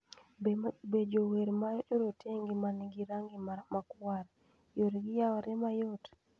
Be jower ma jorotenge ma nigi rangi 'makwar' yoregi yaore mayot?